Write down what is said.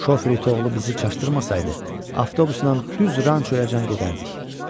Şoferitoğlu bizi çaşdırmasaydı, avtobusla düz rançoya can gedərdik.